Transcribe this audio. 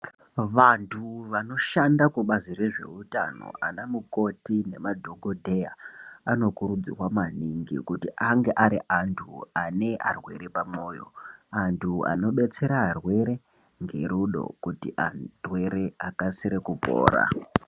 Vantu vanoshanda kubazi rezveutano ana muanti nemadhokodheya anokurudzirwa maningi kuti ange ari antu ane arwere pamwoyo antu anobetsera arwere ngerudo kuti arwere akasire kupora.